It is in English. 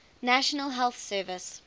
national health service